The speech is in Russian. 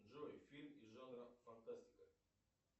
джой фильм из жанра фантастика